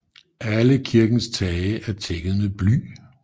Alle kirkens tage er tækket med bly